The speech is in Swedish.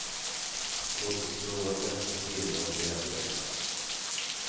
Låt oss tro att nästa filmår blir ännu bättre.